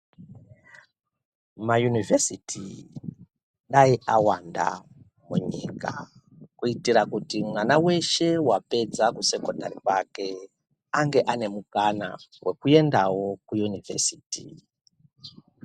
Mayunivhesiti dayi awanda munyika kuitire kuti mwana weshe wapedza kumasekondari kwake ange ane mukana wekuendawo kuyunivhesiti.